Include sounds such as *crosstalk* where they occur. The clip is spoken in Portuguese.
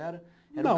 Era *unintelligible*